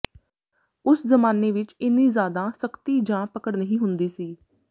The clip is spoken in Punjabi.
ਉਸ ਜ਼ਮਾਨੇ ਵਿਚ ਇੰਨੀ ਜ਼ਿਆਦਾ ਸਖ਼ਤੀ ਜਾਂ ਪਕੜ ਨਹੀਂ ਹੁੰਦੀ ਸੀ